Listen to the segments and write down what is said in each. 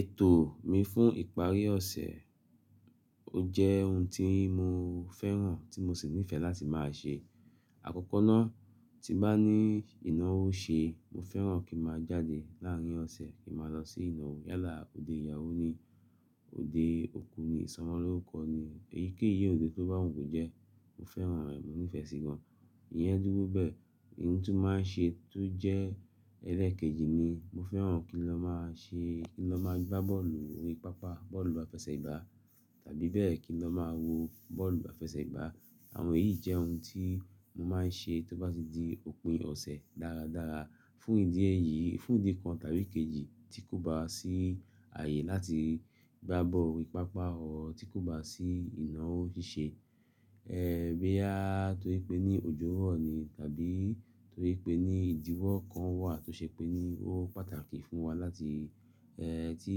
Ètò mi fún ìparí ọ̀sẹ̀, ó jẹ́ ohun tí mo fẹ́ràn tí mo sì nífẹ̀ẹ́ láti máa ṣe. Àkọ́kọ́ náà, tí n bá ní ìnáwó ṣe, mo fẹ́ràn kín máa jáde láàárín ọ̀sẹ̀ kín máa lọ sí ìnáwó yálà, òde ìyàwó ni, òde òkú ni, ìsọmọlórúkọ ni, eyikeyi òde tó bá wù mí jẹ, mo fẹ́ràn rẹ̀, mo nífẹ̀ẹ́ sí i gan. Iyẹn dúró bẹ́ẹ̀. Ohun tí n máa ṣe tó jẹ́ ẹlẹ́ẹ̀kejì ni mo fẹ́ràn kí n lọ máa ṣe, kí n lọ máa gbá bọ́ọ̀lù orí pápá, bọ́ọ̀lù àfẹsẹ̀gbá tàbí bẹ́ẹ̀ kí n lọ máa wo bọ́ọ̀lù àfẹsẹ̀gbá. Àwọn èyí jẹ́ ohun tí mo máa ń ṣe tó bá ti di òpin ọ̀sẹ̀ dáradára. Fún ìdí èyí, fún ìdí kan tàbí kejì tí kò bá sí ààyè láti gbá bọ́ọ̀lù orí pápá or, tí kò bá sí ìnáwó ṣíṣe, ẹ bí à tó rí pé ní òjò rọ ni tàbí torí pé ní ìdíwọ́ kan wà tó ṣe pé ní ó pàtàkì fún wa láti ẹ tí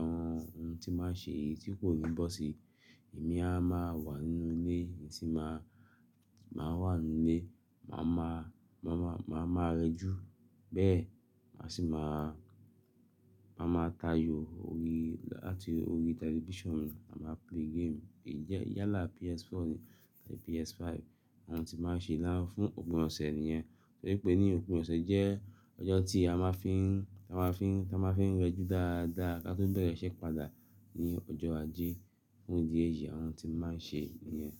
àwọn ohun tí máa ṣe yìí tí kò ní bọ́ sí i, èmi a máa wà nínú ilé, èmi sì máa, máa wà nínú ilé, màá ma, màá ma, màá máa rẹjú. Bẹ́ẹ̀, màá sì máa, màá máa tayò orí láti orí television mi, màá máa play game. Èyí jẹ́ yálà PS4 ni tàbí PS5. Àwọn ohun tí màá ṣe lánàá fún òpin ọ̀sẹ̀ nìyẹn. Torí pé ní òpin ọ̀sẹ̀ jẹ́ ọjọ́ tí a máa fín, tí a máa fín, tí a máa fín rẹjú dáadáa ká tó bẹ̀rẹ̀ iṣẹ́ padà ni ọjọ́ ajé. Fún ìdí èyí, àwọn ohun tí màá ṣe nìyẹn.